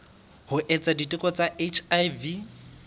ho etsa diteko tsa hiv